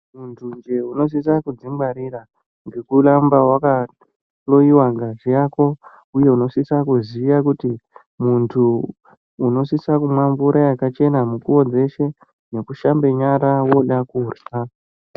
Muntunje unosisa kudzingwarira ngekuramba wakahloyiwa ngazi yako, uye unosisa kuziya kuti muntu unosisa kumwa mvura yakachena mukuwo dzeshe nekushambe nyara woda kurya.